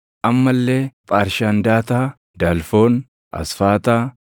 Amma illee Paarshandaataa, Dalfoon, Asfaataa,